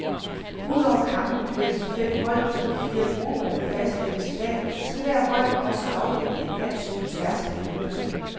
Udover kampene mellem de fem hold i de fire grupper, der fastlægges i dag, skal hvert hold også afvikle en match på tværs af puljerne.